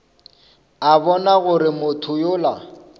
a bona gore motho yola